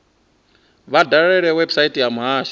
vha dalele website ya muhasho